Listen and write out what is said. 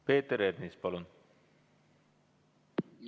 Peeter Ernits, palun!